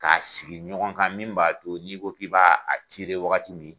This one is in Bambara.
Ka sigi ɲɔgɔn kan min b'a to n'i ko k'i b'a wagati min